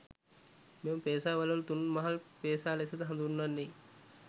මෙම පේසා වළලු තුන් මහල් පේසා ලෙසද හඳුන්වන්නේ